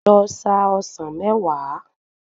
Lọ sa ọsàn mẹ́wàá.